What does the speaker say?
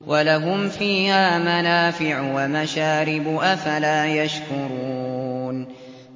وَلَهُمْ فِيهَا مَنَافِعُ وَمَشَارِبُ ۖ أَفَلَا يَشْكُرُونَ